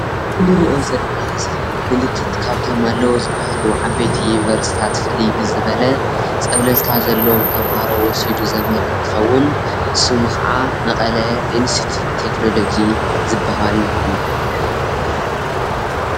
ብሉፃትን ንፉዓትን ተመሃሮ ዝመሃርሉ ኣብ ትግራይ ዘለው ትካላት ትምህርቲ ሓደ ኮይኑ መቐለ ኢንስትዩትት ተክኖሎጂ ይበሃለሰ።